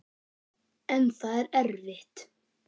En það er erfitt.